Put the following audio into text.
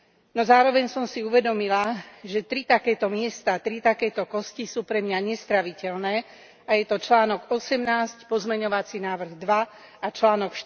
No zároveň som si uvedomila, že tri takéto miesta, tri takéto kosti sú pre mňa nestráviteľné a je to článok 18, pozmeňovací návrh 2 a článok